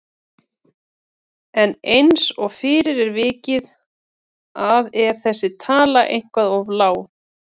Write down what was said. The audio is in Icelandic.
En eins og fyrr er vikið að er þessi tala eitthvað of lág.